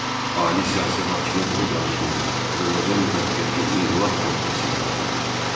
Ali siyasi hakimiyyət orqanı kimi Azərbaycan müvəqqəti inqilab komitəsi yaradıldı.